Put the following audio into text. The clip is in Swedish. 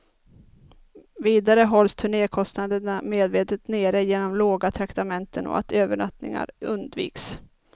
Vidare hålls turnékostnaderna medvetet nere genom låga traktamenten och att övernattningar undviks.